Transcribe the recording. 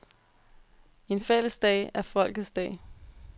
En fælles dag er folkets dag.